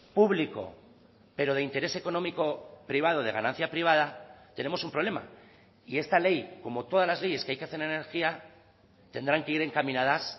público pero de interés económico privado de ganancia privada tenemos un problema y esta ley como todas las leyes que hay que hacen energía tendrán que ir encaminadas